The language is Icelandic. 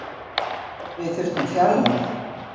Við þurftum fjarlægð.